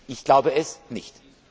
Ich glaube es nicht.